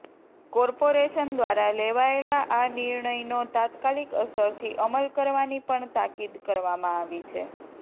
corporation દ્વારા લેવાયેલા આ નિર્ણયનો તાત્કાલિક અસરથી અમલ કરવાની પણ તાકીદ કરવામાં આવી છે